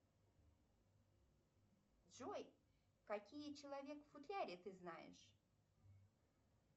джой какие человек в футляре ты знаешь